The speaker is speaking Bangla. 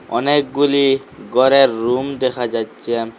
অনেকগুলি গরের রুম দেখা যাইচ্ছে।